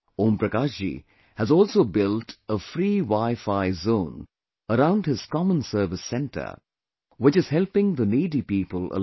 Om Prakash ji has also built a free wifi zone around his common service centre, which is helping the needy people a lot